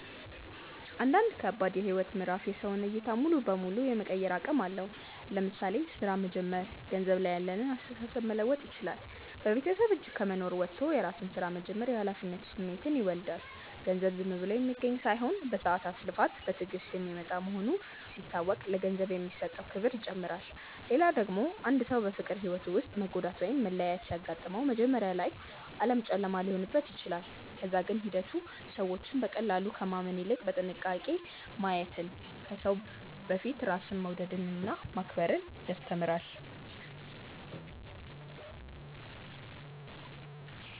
አንዳንድ ከባድ የህይወት ምዕራፍ የሰውን ዕይታ ሙሉ በሙሉ የመቀየር አቅም አለው። ለምሳሌ ሥራ መጀመር ገንዘብ ላይ ያለንን አስተሳሰብ መለወጥ ይችላል። በቤተሰብ እጅ ከመኖር ወጥቶ የራስን ስራ መጀመር የኃላፊነት ስሜትን ይወልዳል። ገንዘብ ዝም ብሎ የሚገኝ ሳይሆን በሰዓታት ልፋት፣ በትዕግስት የሚመጣ መሆኑ ሲታወቅ ለገንዘብ የሚሰጠው ክብር ይጨምራል። ሌላ ደግሞ አንድ ሰው በፍቅር ህይወቱ ውስጥ መጎዳት ወይም መለያየት ሲያጋጥመው፣ መጀመሪያ ላይ ዓለም ጨለማ ሊሆንበት ይችላል። ከዛ ግን ሂደቱ ሰዎችን በቀላሉ ከማመን ይልቅ በጥንቃቄ ማየትን፣ ከሰው በፊት ራስን መውደድንና ማክበርን ያስተምራል።